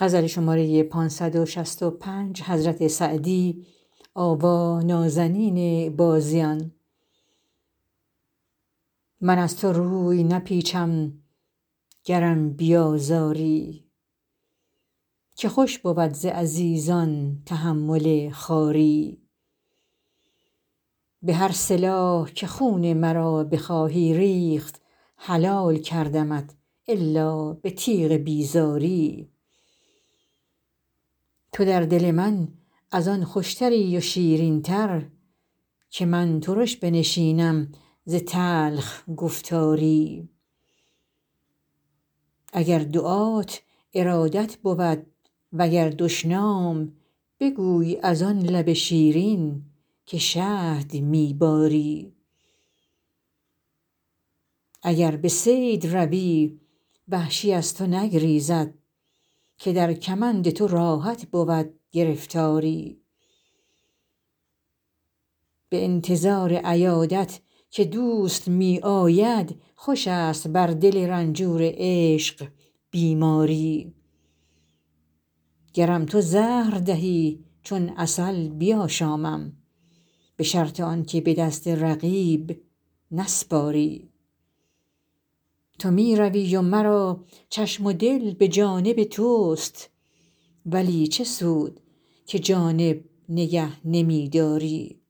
من از تو روی نپیچم گرم بیازاری که خوش بود ز عزیزان تحمل خواری به هر سلاح که خون مرا بخواهی ریخت حلال کردمت الا به تیغ بیزاری تو در دل من از آن خوشتری و شیرین تر که من ترش بنشینم ز تلخ گفتاری اگر دعات ارادت بود و گر دشنام بگوی از آن لب شیرین که شهد می باری اگر به صید روی وحشی از تو نگریزد که در کمند تو راحت بود گرفتاری به انتظار عیادت که دوست می آید خوش است بر دل رنجور عشق بیماری گرم تو زهر دهی چون عسل بیاشامم به شرط آن که به دست رقیب نسپاری تو می روی و مرا چشم و دل به جانب توست ولی چه سود که جانب نگه نمی داری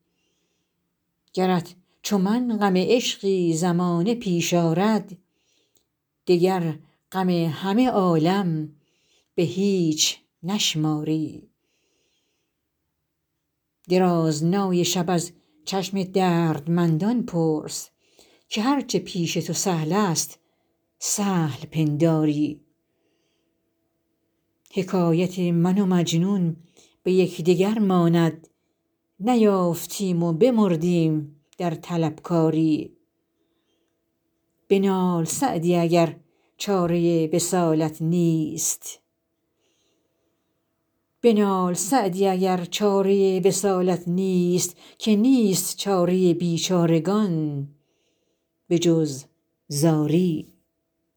گرت چو من غم عشقی زمانه پیش آرد دگر غم همه عالم به هیچ نشماری درازنای شب از چشم دردمندان پرس که هر چه پیش تو سهل است سهل پنداری حکایت من و مجنون به یکدگر ماند نیافتیم و بمردیم در طلبکاری بنال سعدی اگر چاره وصالت نیست که نیست چاره بیچارگان به جز زاری